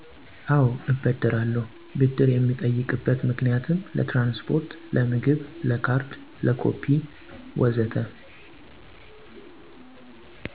አዎ እበደራለሁ፣ ብድር የምጠይቅበት ምክንያትም ለትራንስፖርት፣ ለምግብ፣ ለካርድ፣ ለኮፒ ወዘተ